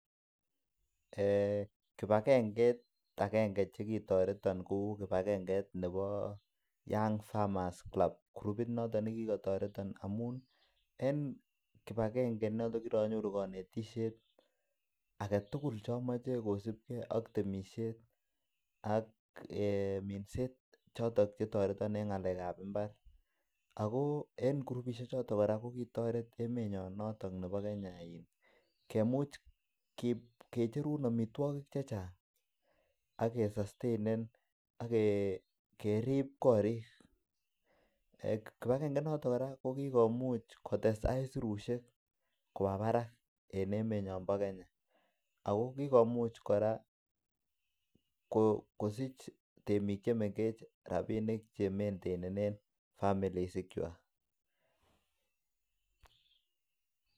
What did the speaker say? Kibagengeit agenge nekitoreton ko nebo young farmers club nekitoreton amun en kibagenge I noton kokironyoru konetisiet age tugul Che amache kosubge ak temisiet ak minset choton Che toreton en ngalekab mbar ago en kirupisiek choton kora kokitoret emenyon noton nebo Kenya en kemuch kicherun amitwogik Che Chang ak kesastainen ak kerib korik kibagenge inoton kora ko ki komuch kotes aisurusiek koba barak en emenyon bo Kenya ago kigomuch kora kosich temik Che mengechen rabinik Che maintenen families ikwak